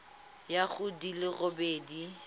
ya go di le robedi